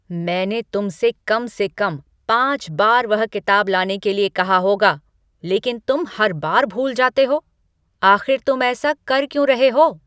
मैंने तुमसे कम से कम पाँच बार वह किताब लाने के लिए कहा होगा, लेकिन तुम हर बार भूल जाते हो, आख़िर तुम ऐसा कर क्यों रहे हो?